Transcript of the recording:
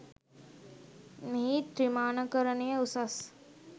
මෙහි ත්‍රිමාණකරනය උසස්